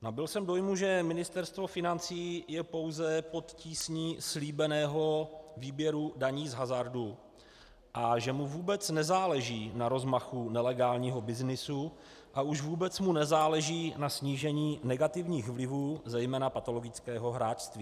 Nabyl jsem dojmu, že Ministerstvo financí je pouze pod tísní slíbeného výběru daní z hazardu a že mu vůbec nezáleží na rozmachu nelegálního byznysu a už vůbec mu nezáleží na snížení negativních vlivů, zejména patologického hráčství.